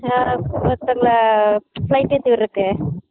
ஆஹ் ஒருத்தங்கள flight ஏத்தி விடுரதுகு